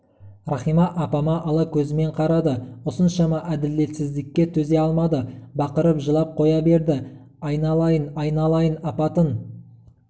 рахима апама ала көзімен қарады осыншама әділетсіздікке төзе алмады бақырып жылап қоя берді айналайын айналайын апатын